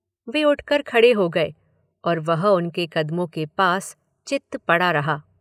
वे उठकर खड़े हो गए और वह उनके कदमों के पास चित्त पड़ा रहा।